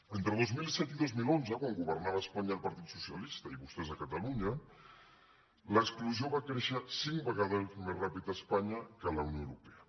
entre dos mil set i dos mil onze quan governava a espanya el partit socialista i vostès a catalunya l’exclusió va créixer cinc vegades més ràpid a espanya que a la unió europea